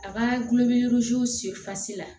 A ka gulɔmin sɛ la